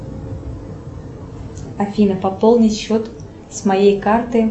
афина пополнить счет с моей карты